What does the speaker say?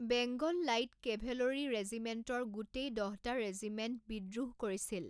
Bengal light cavalry ৰেজিমেণ্টৰ গোটেই দহটা ৰেজিমেণ্টে বিদ্ৰোহ কৰিছিল।